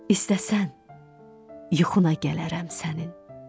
İstərsən, yuxuna gələrəm sənin.